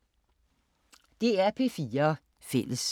DR P4 Fælles